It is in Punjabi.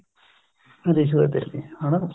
ਰਿਸ਼ਵਤ ਦੇਣੀ ਹਨਾ